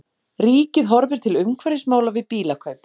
Ríkið horfir til umhverfismála við bílakaup